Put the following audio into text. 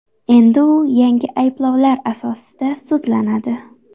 Endi u yangi ayblovlar asosida sudlanadi.